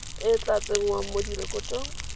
e tla tsengwang mo direkotong